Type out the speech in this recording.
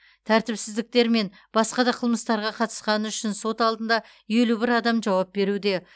тәртіпсіздіктер мен басқа да қылмыстарға қатысқаны үшін сот алдында елу бір адам жауап беруде